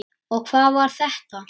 Og hvað var þetta?